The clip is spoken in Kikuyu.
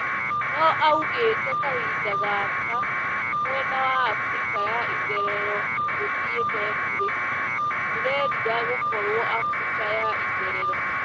Noo augite kahinda gake mwena wa Afrika ya itherero nduthiete bure:"Ndirerira gũkorwo Afrika ya itherero